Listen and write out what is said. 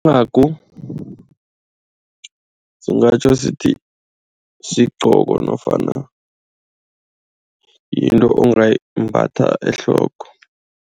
Incagu singatjho sithi sigcoko nofana yinto ongayimbathwa ehloko.